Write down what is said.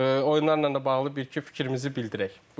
oyunlarla da bağlı bir-iki fikrimizi bildirək.